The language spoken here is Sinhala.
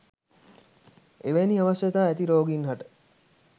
එවැනි අවශ්‍යතා ඇති රෝගීන්හට